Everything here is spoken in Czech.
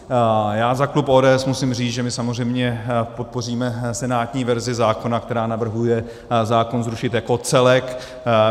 Já za klub ODS musím říct, že my samozřejmě podpoříme senátní verzi zákona, která navrhuje zákon zrušit jako celek.